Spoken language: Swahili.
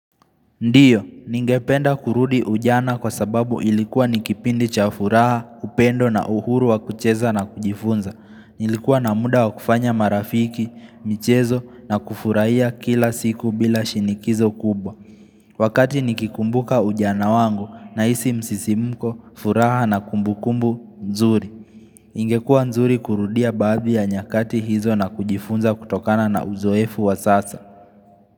Ndiyo, ningependa kurudi ujana kwa sababu ilikuwa nikipindi chafuraha, upendo na uhuru wa kucheza na kujifunza. Nilikuwa na muda wa kufanya marafiki, michezo na kufurahia kila siku bila shinikizo kubwa. Wakati nikikumbuka ujana wangu na isi msisimuko, furaha na kumbukumbu, nzuri. Ingekua nzuri kurudia baadhi ya nyakati hizo na kujifunza kutokana na uzoefu wa sasa.